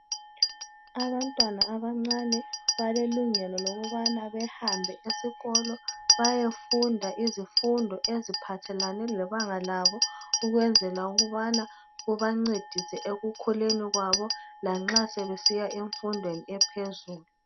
Abantwana abancane balelungelo lokubana behambe esikolo bayefunda izifundo eziphathelane lebanga labo ukwenzela ukubana kubancedise ekukhuleni kwabo lanxa sebesiya emfundweni ephezulu.